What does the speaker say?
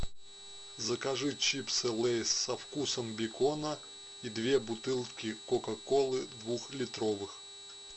закажи чипсы лейс со вкусом бекона и две бутылки кока колы двух литровых